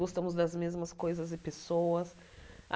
Gostamos das mesmas coisas e pessoas.